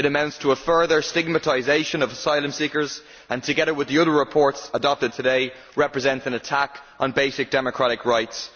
It amounts to a further stigmatisation of asylum seekers and, together with the other reports adopted today, represents an attack on basic democratic rights.